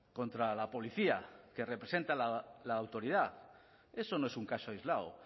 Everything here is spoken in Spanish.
contra la policía que representa la autoridad eso no es un caso aislado